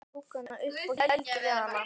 Hann tók hana upp og gældi við hana.